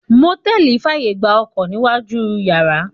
Mòtẹ́lì fàyè gba Ọkọ̀ níwájú u yàrá.